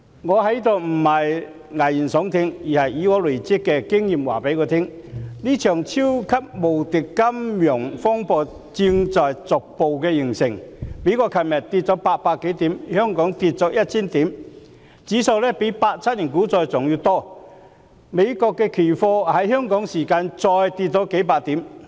我不是在此危言聳聽，而是累積的經驗告訴我，這場超級無敵金融風暴正在逐步形成，美國股市昨天下跌800多點，香港股市下跌1000點，跌幅較1987年股災還要大，美國的期貨指數在香港時間再下跌了數百點。